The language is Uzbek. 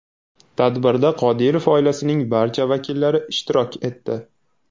Tadbirda Qodirov oilasining barcha vakillari ishtirok etdi.